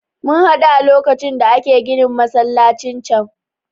Mun haɗu a lokacin da ake ginin masallacin can.